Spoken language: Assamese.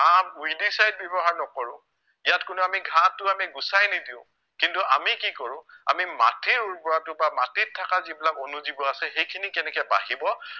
weedicides ইয়াত কোনো আমি ঘাঁহটো আমি গোচাই নিদিও কিন্তু আমি কি কৰো আমি মাটিৰ উৰ্বৰতাটো বা মাটিত থকা যিবিলাক অনুজীৱ আছে সেইখিনি কেনেকে বাঢ়িব